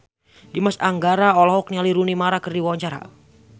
Dimas Anggara olohok ningali Rooney Mara keur diwawancara